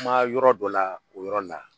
Kuma yɔrɔ dɔ la o yɔrɔ la